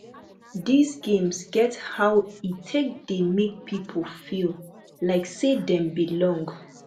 these games get how e take dey make people feel like sey dem belong